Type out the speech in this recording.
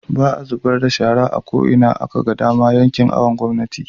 baa zubarda da shara a ko'ina akaga dama a yankin awon gomnati